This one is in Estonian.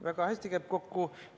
Väga hästi käib kokku.